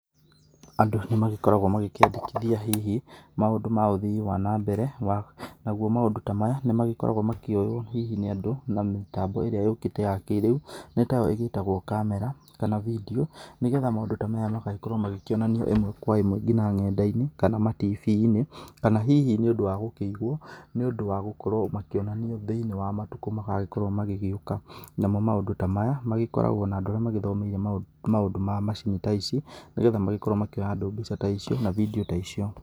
Andũ nĩ magĩkoragwo magĩkiendekithia hihi maũndũ ma ũthii wa na mbere naguo maũndũ ta maya nĩ magĩkoragwo magĩkioywo hihi nĩ andũ na mĩtambo ĩrĩra yũkĩte ya kĩrĩu. Nĩ tayo ĩgĩtagwo kamera kana bindiũ nĩ getha maũndũ ta maya makorwo magĩkionanio ĩmwe kwa ĩmwe ngina ng'enda-inĩ kana TV-inĩ, kana hihi nĩ ũndũ wa gũkĩigwo nĩ ũndũ wa gũkorwo makĩonanio thĩinĩ wa matukũ magũkorwo magĩgĩũka. Namo maũndũ ta maya magĩkoragwo na andũ arĩa magĩthomeire maũndũ ma macini ta ici nĩ getha magĩkorwo makĩoya andũ mbica ta icio kana bindiũ ta icio.